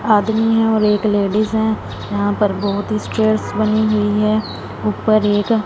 आदमी है और एक लेडिस हैं यहां पर बहोत ही स्टेयर्स बनी हुई है ऊपर एक--